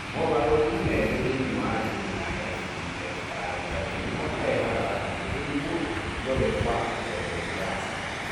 mogarũrũku merĩ thĩinĩ wa jini ya FGFR3 nĩmo marehaga hakuhĩ tũrimũ tuothe twa achondroplasia.